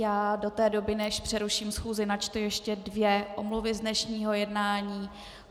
Já do té doby, než přeruším schůzi, načtu ještě dvě omluvy z dnešního jednání.